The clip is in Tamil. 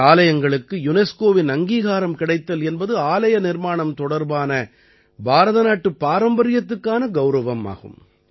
இந்த ஆலயங்களுக்கு யுனெஸ்கோவின் அங்கீகாரம் கிடைத்தல் என்பது ஆலய நிர்மாணம் தொடர்பான பாரத நாட்டுப் பாரம்பரியத்துக்கான கௌரவம் ஆகும்